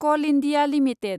call India limited